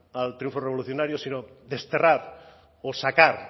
al triunfo revolucionario sino desterrar o sacar